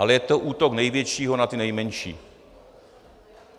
Ale je to útok největšího na ty nejmenší.